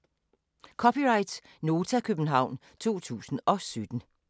(c) Nota, København 2017